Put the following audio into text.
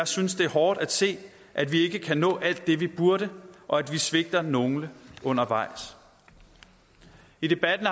synes det er hårdt at se at vi ikke kan nå alt det vi burde og at vi svigter nogle undervejs i debatten